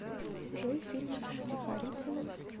джой фильмы с вуди харрельсеном